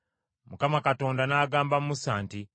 Mukama Katonda n’agamba Musa nti,